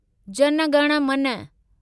जन गण मन